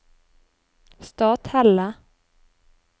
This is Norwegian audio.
Stathelle